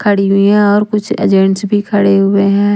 खड़ी हुई है और कुछ एजेंट्स भी खड़े हुए हैं।